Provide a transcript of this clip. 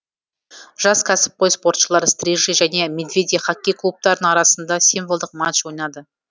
жас кәсіпқой спортшылар стрижи және медведи хоккей клубтарының арасында символдық матч ойнады